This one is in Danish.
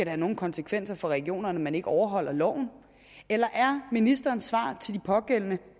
have nogen konsekvenser for regionerne at man ikke overholder loven eller er ministerens svar til de pågældende